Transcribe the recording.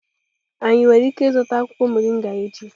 Anyi nwere ike izuta akwukwo moringa echi?